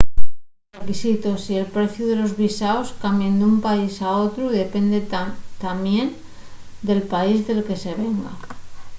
los requisitos y el preciu de los visaos cambien d’un país a otru y dependen tamién del país del que se venga